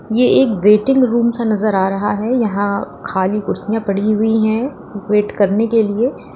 यह एक waiting room सा नजर आ रहा है यहां खाली कुर्सियां पड़ी हुई हैं वेट करने के लिए।